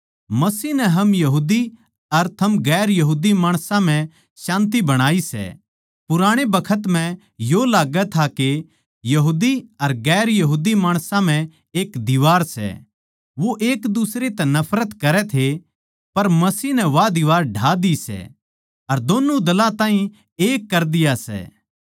मसीह नै हम यहूदी अर थम गैर यहूदी माणसां म्ह शान्ति बणाई सै पुराणे बखत म्ह यो लाग्गै था के यहूदी अर गैर यहूदी माणसां म्ह एक दीवार सै वो एक दुसरे तै नफरत करै थे पर मसीह नै वा दीवार ढा दी सै अर दोन्नु दलां ताहीं एक कर दिया सै